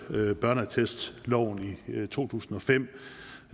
børneattestloven i to tusind og fem